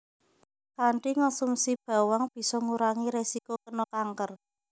Kanthi ngonsumsi bawang bisa ngurangi risiko kéna kanker